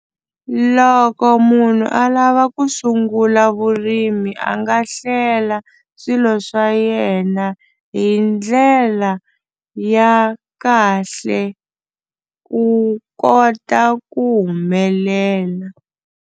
Loko munhu a lava ku sungula vurimi a nga hlela swilo swa yena hi ndlela ya kahle ku kota ku humelela.